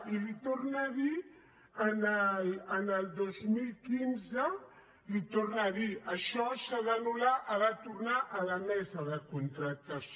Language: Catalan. i li torna a dir el dos mil quinze li torna a dir això s’ha d’anular ha de tornar a la mesa de contractació